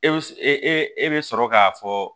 E e e bɛ sɔrɔ k'a fɔ